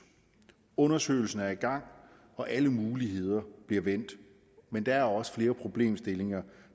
undersøgelsen er i gang og alle muligheder bliver vendt men der er også flere problemstillinger